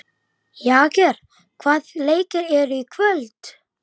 Heiðin var ekkert nema mosi og grjót.